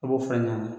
A b'o fara ɲɔn kan